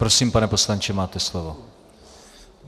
Prosím, pane poslanče, máte slovo.